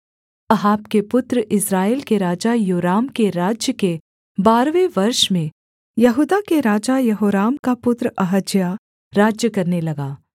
Ahab के पुत्र इस्राएल के राजा योराम के राज्य के बारहवें वर्ष में यहूदा के राजा यहोराम का पुत्र अहज्याह राज्य करने लगा